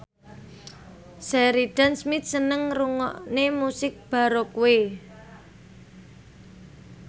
Sheridan Smith seneng ngrungokne musik baroque